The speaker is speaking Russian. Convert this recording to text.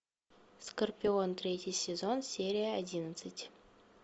скорпион третий сезон серия одиннадцать